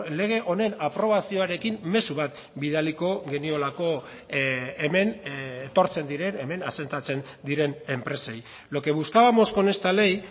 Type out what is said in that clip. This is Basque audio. lege honen aprobazioarekin mezu bat bidaliko geniolako hemen etortzen diren hemen asentatzen diren enpresei lo que buscábamos con esta ley